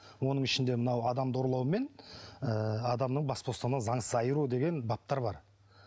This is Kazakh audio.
оның ішінде мынау адамды ұрлау мен ы адамның бас бостандығынан заңсыз айыру деген баптар бар